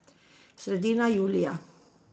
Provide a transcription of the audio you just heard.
Sredina julija.